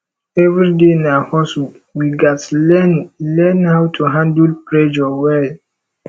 every day na hustle we gats learn learn how to handle pressure well